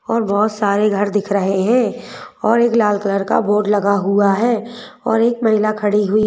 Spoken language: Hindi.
और बहुत सारे घर दिख रहे हैंऔर एक लाल कलर का बोर्ड लगा हुआ है और एक महिला खड़ी हुई--